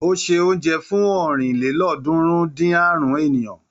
Ó se oúnjẹ fún ọ̀rìnlélọ́ọ̀ọ́dúnrún-dín-àrún ènìyàn.